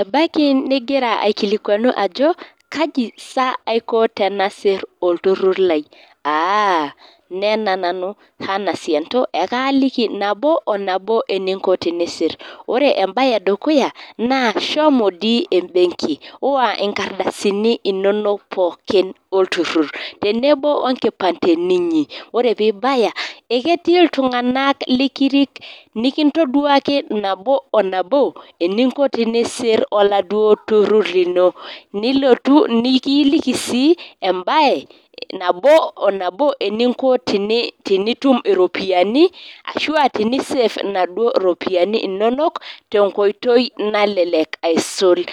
Ebaiki ningira akilikuanu ajo kaji saa aiko tenasir olturur lai. Aaaah. Nena nanu Hannah Sianto ekaaliki nabo onabo einko tenisir. Ore embae edukuya naa shomo dii embenki, iwa inkardasini inonok pooki olturur. Tenebo onkipandeni inyi. Ore pee ibaya, eketii iltunganak likurik likintoduaki nabo onabo einko tenisir oladuo turur lino. Nilo nikiliki sii embae nabo onabo eninko tenitum iropiyiani ashuaa tenisafe inaduo ropiyiani inonok tenkoitoi nalelek aisul.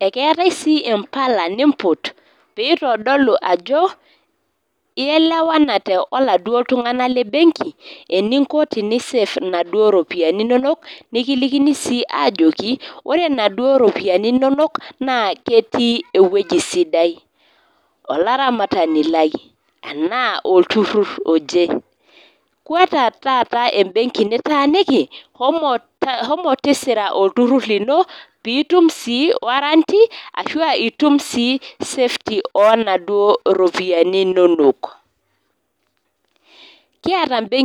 Ekeetae sii impala nimput peyie eitodolu ajo ielewanate oladuo tunganak le mbenki eninko tenisafe inaduo ropiyiani inonok nikilikini sii aajoki, ore inaduo ropiyiani inonok naa ketii ewueji sidai. Olaramatani lai anaa olturur oje. Kweta taata embenki nitaaniki shomo tisira olturur lino piitum sii warranty nitum sii safety onaduo ropiyiani inonok. Kiata imbenkii